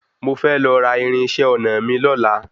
Mo fe lọ ra irinṣẹ́ ọnà mí lọ́la.